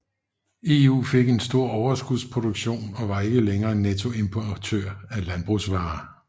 EU fik en stor overskudsproduktion og var ikke længere nettoimportør af landbrugsvarer